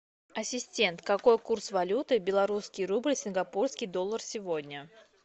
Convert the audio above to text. ассистент какой курс валюты белорусский рубль сингапурский доллар сегодня